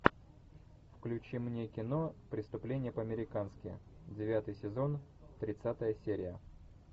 включи мне кино преступление по американски девятый сезон тридцатая серия